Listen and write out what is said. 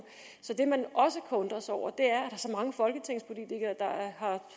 det man også kan undre sig over er er så mange folketingspolitikere